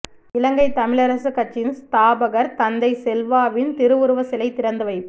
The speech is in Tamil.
இலங்கை தமிழரசு கட்சியின் ஸ்தாபகர் தந்தை செல்வாவின் திருவுருவ சிலை திறந்து வைப்பு